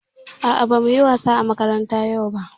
A'a, ba mu yi wasa a makaranta yau ba.